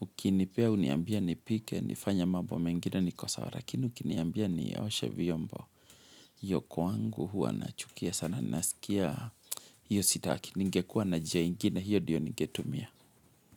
Ukinipea uniambie nipike, nifanye mambo mengine niko sawa lakini, ukiniambia nioshe vyombo. Hio kwangu huwa nachukia sana nasikia. Hio sitaki ningekua na njia ingine, hiyo ndio ningetumia.